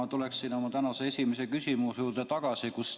Ma tulen oma tänase esimese küsimuse juurde tagasi.